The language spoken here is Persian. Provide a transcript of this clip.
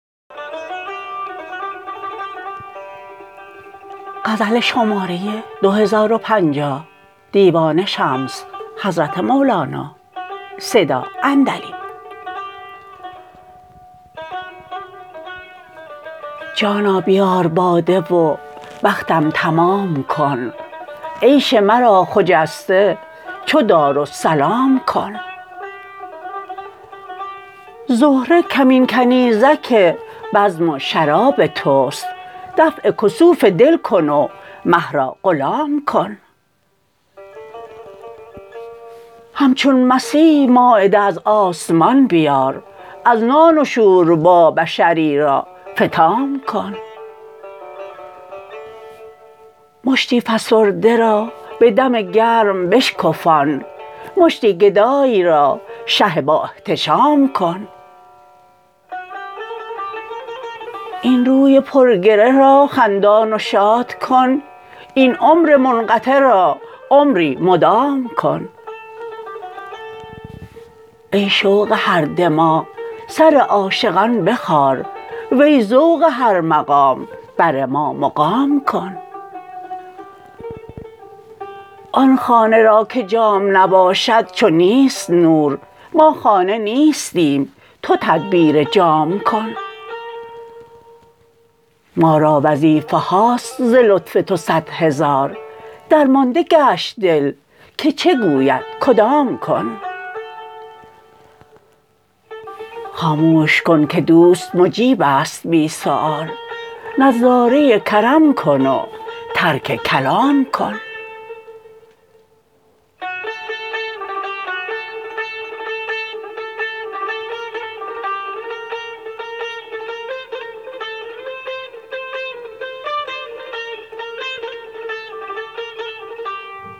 جانا بیار باده و بختم تمام کن عیش مرا خجسته چو دارالسلام کن زهره کمین کنیزک بزم و شراب توست دفع کسوف دل کن و مه را غلام کن همچون مسیح مایده از آسمان بیار از نان و شوربا بشری را فطام کن مشتی فسرده را به دم گرم بشکفان مشتی گدای را شه بااحتشام کن این روی پرگره را خندان و شاد کن این عمر منقطع را عمری مدام کن ای شوق هر دماغ سر عاشقان بخار وی ذوق هر مقام بر ما مقام کن آن خانه را که جام نباشد چو نیست نور ما خانه ساختیم تو تدبیر جام کن ما را وظیفه هاست ز لطف تو صد هزار درمانده گشت دل که چه گوید کدام کن خاموش کن که دوست مجیب است بی سوال نظاره کرم کن و ترک کلام کن